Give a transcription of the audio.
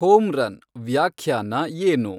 home run ವ್ಯಾಖ್ಯಾನ ಏನು